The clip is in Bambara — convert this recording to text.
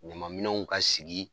Ɲamanminɛnw ka sigi